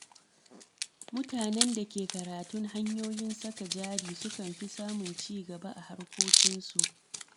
Mutanen da ke karatun hanyoyin saka jari sukan fi samun ci gaba a harkokinsu.